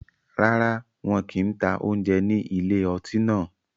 Rárá, wọn kì ń ta oúnjẹ ní ilé ọtí náà